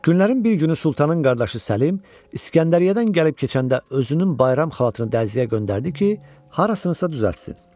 Günlərin bir günü sultanın qardaşı Səlim İskəndəriyyədən gəlib keçəndə özünün bayram xalatını dərzəyə göndərdi ki, harasınsa düzəltsin.